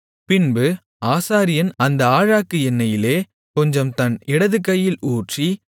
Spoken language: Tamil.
பின்பு ஆசாரியன் அந்த ஆழாக்கு எண்ணெயிலே கொஞ்சம் தன் இடதுகையில் ஊற்றி